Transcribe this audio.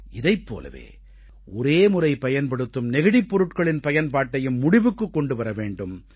இதைப் போலவே ஒரேமுறை பயன்படுத்தும் நெகிழிப் பொருட்களின் பயன்பாட்டையும் முடிவுக்குக் கொண்டு வர வேண்டும்